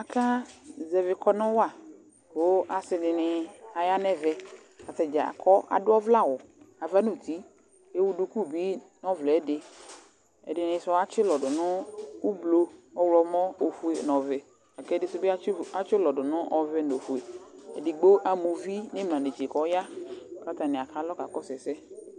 Aka zɛvɩ kɔnʋ wa kʋ asi dini aya n'ɛvɛ Atadza adʋ ɔvlɛawʋ ava n'uti Ewu duku bi n'ɔvlɛ ɛdi Ɛdɩnɩ sʋ atsi ʋlɔ dʋ ʋblʋ, ɔɣlɔmɔ, ofue n'ɔvɛ K'ɛdɩsʋ bɩ atsi ʋlɔ dʋ nʋ ɔvɛ n'ofue Edigbo ama uvi n'imla netse k'ɔya n'atamialɔ ka kɔsʋ ɛsɛ